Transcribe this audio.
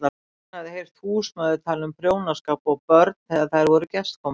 Hún hafði heyrt húsmæður tala um prjónaskap og börn þegar þær voru gestkomandi.